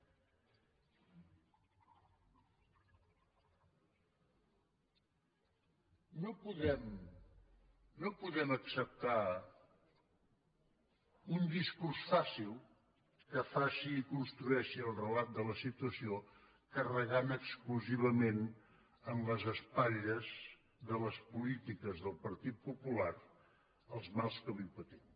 no podem no podem acceptar un discurs fàcil que faci i construeixi el relat de la situació carregant exclusivament en les espatlles de les polítiques del partit popular els mals que avui patim